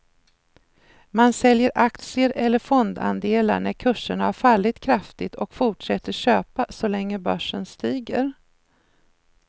Man säljer aktier eller fondandelar när kurserna har fallit kraftigt och fortsätter köpa så länge börsen stiger.